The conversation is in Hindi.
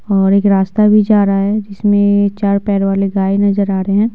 और एक रास्ता भी जा रहा है जिसमें चार पैर वाले गाय नजर आ रहे हैं।